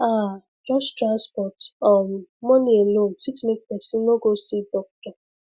ah just transport um money alone fit make person no go see doctor